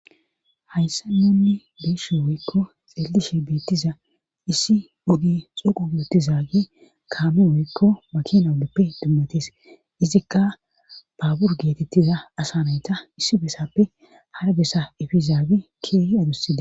hayssan nunni be7ishe woykko xeellishe beettiza issi oge xoqu geetizaage kaame woykko makinatuppe dummatees izikka baabur geetettiza asa nayta issi besappe hara bessa efizaage keehi adussida